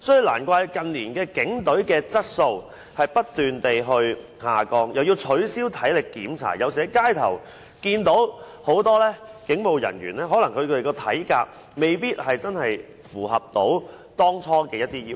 難怪近年警隊的質素不斷下降，又要取消體力檢查，所以在街上看到很多警務人員的體格可能也未必符合當初的要求。